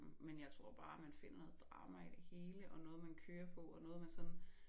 Men jeg tror bare man finder noget drama i det hele og noget man kører på og noget man sådan